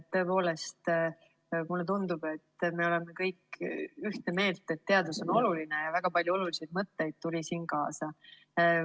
Tõepoolest, mulle tundub, et me oleme kõik ühte meelt, et teadus on oluline, ja väga palju olulisi mõtteid sai siit kaasa.